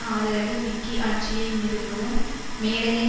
ஆதரவு விக்கி ஆட்சியை நிறுவவும் மேடையை